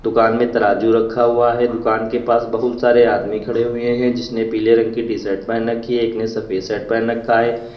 दुकान में तराजू रखा हुआ है दुकान के पास बहुत सारे आदमी खड़े हुए हैं जिसने पीले रंग की टी शर्ट पहन रखी है एक ने सफेद शर्ट पहन रखा है।